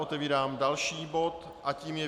Otevírám další bod a tím je